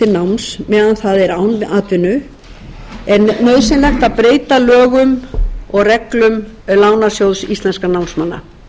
náms meðan það er án atvinnu er nauðsynlegt að breyta lögum og reglum lánasjóðs íslenskum námsmanna